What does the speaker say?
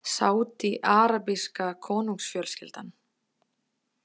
Sádi- arabíska konungsfjölskyldan.